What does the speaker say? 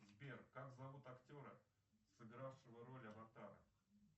сбер как зовут актера сыгравшего роль аватара